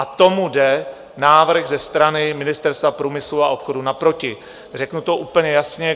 A tomu jde návrh ze strany Ministerstva průmyslu a obchodu naproti, řeknu to úplně jasně.